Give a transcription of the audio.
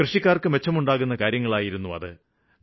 കൃഷിക്കാര്ക്ക് മെച്ചമുണ്ടാക്കുന്ന കാര്യങ്ങളായിരുന്നു അത്